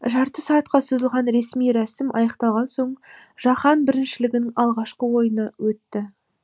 жарты сағатқа созылған ресми рәсім аяқталған соң жаһан біріншілігінің алғашқы ойыны өтті